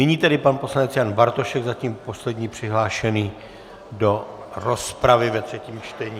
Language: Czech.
Nyní tedy pan poslanec Jan Bartošek, zatím poslední přihlášený do rozpravy ve třetím čtení.